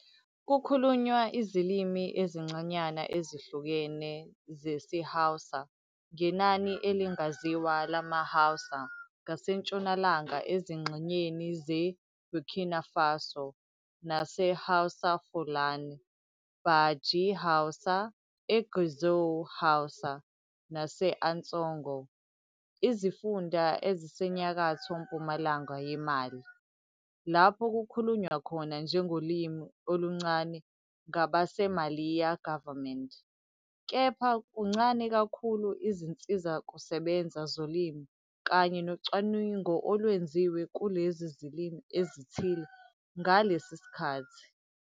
Kukhulunywa izilimi ezincanyana ezihlukene zesiHausa ngenani elingaziwa lamaHausa ngasentshonalanga ezingxenyeni zeBurkina Faso, naseHaoussa Foulane, Badji Haoussa, eGuezou Haoussa, nase- Ansongo izifunda ezisenyakatho-mpumalanga yeMali, lapho kukhulunywa khona njengolimi oluncane ngabaseMaliya government, kepha kuncane kakhulu izinsizakusebenza zolimi kanye nocwaningo olwenziwe kulezi zilimi ezithile ngalesi sikhathi.